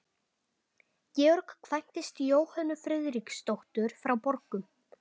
Georg kvæntist Jóhönnu Friðriksdóttur frá Borgum.